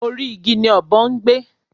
Orí igi ni ọ̀bọ ń gbé